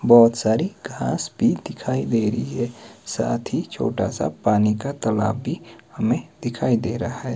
बोहोत सारी घास भी दिखाई दे रही है साथ ही छोटा सा पानी का तलाब भी हमें दिखाई दे रहा है।